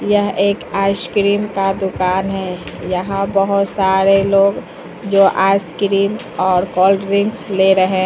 यह एक आइसक्रीम का दुकान है यहां बहोत सारे लोग जो आइसक्रीम और कोल्ड ड्रिंक्स ले रहे--